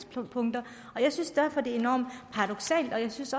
og jeg synes derfor det er enormt paradoksalt og jeg synes